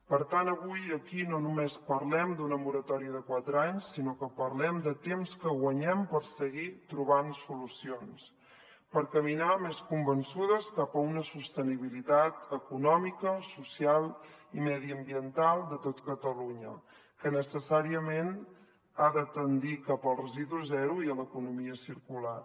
per tant avui aquí no només parlem d’una moratòria de quatre anys sinó que parlem de temps que guanyem per seguir trobant solucions per caminar més convençudes cap a una sostenibilitat econòmica social i mediambiental de tot catalunya que necessàriament ha de tendir cap al residu zero i a l’economia circular